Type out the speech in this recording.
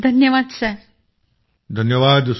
thank you thank you sir